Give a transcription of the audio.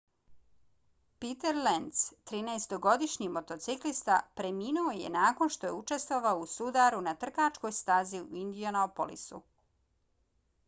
peter lenz 13-godišnji motociklista preminuo je nakon što je učestvovao u sudaru na trkačkoj stazi u indianapolisu